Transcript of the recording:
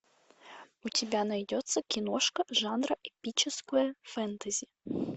у тебя найдется киношка жанра эпическое фэнтези